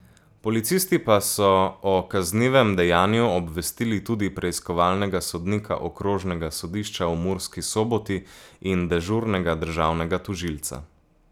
Policisti pa so o kaznivem dejanju obvestili tudi preiskovalnega sodnika Okrožnega sodišča v Murski Soboti in dežurnega državnega tožilca.